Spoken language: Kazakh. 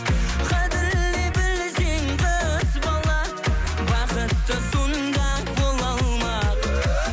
қадірлей білсең қыз бала бақытты сонда бола алмақ